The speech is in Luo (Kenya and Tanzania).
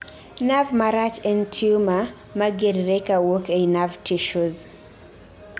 nerve marach en tumor ma ger're kawuok ei nerve tissues